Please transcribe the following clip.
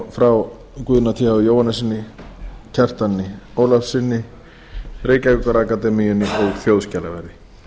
frá guðna th jóhannessyni sagnfræðingi kjartani ólafssyni sagnfræðingi reykjavíkurakademíunni og þjóðskjalaverði